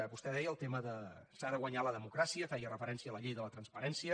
vostè deia el tema de s’ha de guanyar la democràcia feia referència a la llei de la transparència